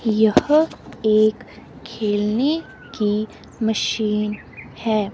यह एक खेलने की मशीन है।